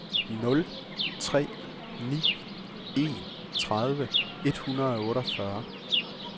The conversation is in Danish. nul tre ni en tredive et hundrede og otteogfyrre